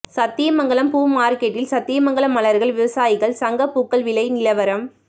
சத்தியமங்கலம் பூ மாா்க்கெட்டில் சத்தியமங்கலம் மலா்கள் விவசாயிகள் சங்க பூக்கள் விலை நிலவரம்